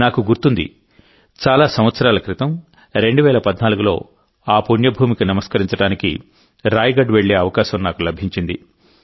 నాకు గుర్తుంది చాలా సంవత్సరాల క్రితం 2014లోఆ పుణ్యభూమికి నమస్కరించడానికి రాయగఢ్ వెళ్లే అవకాశం నాకు లభించింది